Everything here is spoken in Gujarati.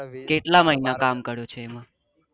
કેટલા મહિના કામ કર્યું છે. એમાં